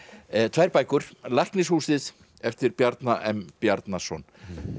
tvær bækur eftir Bjarna m Bjarnason